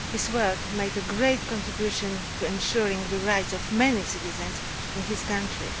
His work has made a great contribution to ensuring the rights of many citizens in his country.